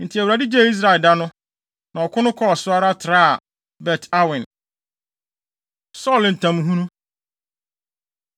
Enti Awurade gyee Israel da no. Na ɔko no kɔɔ so ara traa Bet-Awen. Saulo Ntamhunu